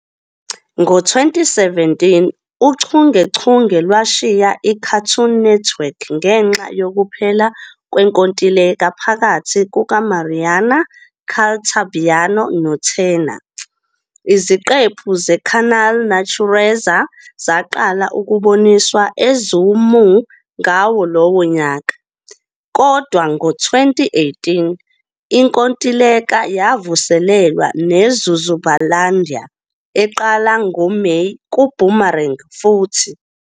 Ngo-2017, uchungechunge lwashiya iCartoon Network ngenxa yokuphela kwenkontileka phakathi kukaMariana Caltabiano noTurner, iziqephu zeCanal Natureza zaqala ukuboniswa eZoomoo ngawo lowo nyaka, kodwa ngo-2018, inkontileka yavuselelwa ne-"Zuzubalândia" eqala ngoMeyi kuBoomerang futhi.